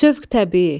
Sövq təbii.